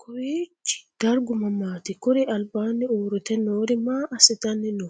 Kowiichi dargu mamaati? Kuri albaanni uurite noori maa asitanni no?